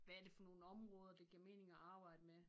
Hvad er det for nogle områder det giver mening at arbejde med